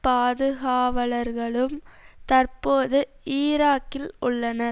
பாதுகாவலர்களும் தற்போது ஈராக்கில் உள்ளனர்